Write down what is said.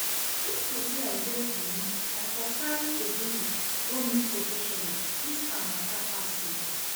If to say I get money I for carry Ebere go meet professional, dis her matter pass me